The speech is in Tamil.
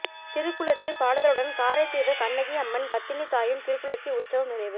திருக்குளிர்ச்சி பாடுதலுடன் காரைதீவு கண்ணகி அம்மன் பத்தினி தாயின் திருக்குளிர்த்தி உட்சவம் நிறைவு